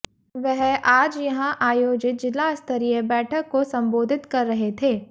वह आज यहां आयोजित जिलास्तरीय बैठक को सम्बोधित कर रहे थे